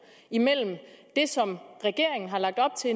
regeringen har lagt op til